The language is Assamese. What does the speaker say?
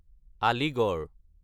আলিগড়